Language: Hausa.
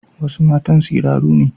Wasu matan siraru ne.